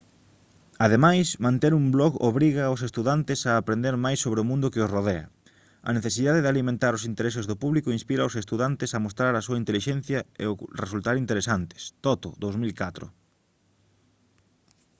ademais manter un blog obriga aos estudantes a aprender máis sobre mundo que os rodea". a necesidade de alimentar os intereses do público inspira aos estudantes a mostrar a súa intelixencia e resultar interesantes toto 2004